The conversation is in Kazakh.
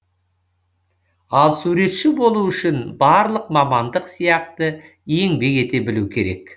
ал суретші болу үшін барлық мамандық сияқты еңбек ете білу керек